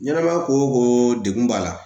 Ɲɛnɛma ya ko ko degun b'a la